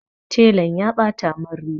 Telan ya ɓata mun riga.